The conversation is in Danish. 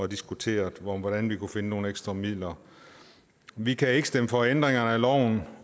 diskuterede hvordan vi kunne finde nogle ekstra midler vi kan ikke stemme for ændringerne af loven